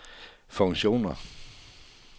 funktioner